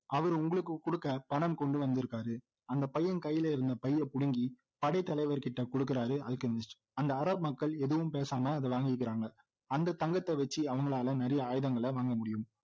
அவர் உங்களுக்கு கொடுக்க பணம் கொண்டு வந்திருக்கிறாரு அந்த பையன் கையில இருந்த பையை பிடுங்கி படை தலைவர்கிட்ட கொடுக்கிறாரு அல்கெமிஸ்ட் அந்த அரபு மக்கள் எதுவும் பேசாமல் அதை வாங்கிக்கிறாங்க அந்த தங்கத்தை வைச்சு அவங்களால நிறைய ஆயுதங்கள வாங்க முடியும்